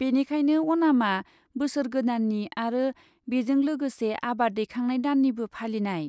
बेनिखायनो अनामआ बोसोर गोदाननि आरो बेजों लोगोसे आबाद दैखांनाय दाननिबो फालिनाय।